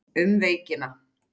Um veikina